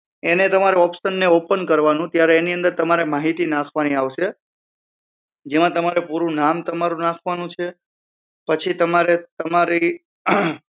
એને એ તમારે option ને open કરવાનું એની અંદર તમારે માહિતી નાખવાની આવશે જેમાં તમારે પૂરું નામ તમારું નાખવાનું છે પછી તમારે